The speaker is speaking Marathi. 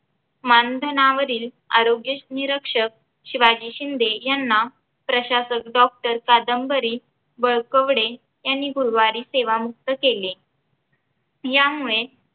मानधनावरील आरोग्य निरक्षक शिवाजी शिंदे याना प्रशासक doctor कादंबरी यांनी गुरुरवारी सेवामुक्त केले वाळकवडे यामुळे